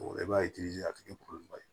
I b'a ye a tɛ kɛ ye